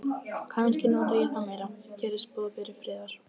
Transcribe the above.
Kannski nota ég það meira, gerist boðberi friðar.